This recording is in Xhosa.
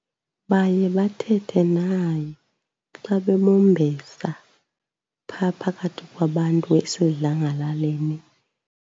Baye bathethe naye xa bemombesa phaa phakathi kwabantu esesidlangalaleni.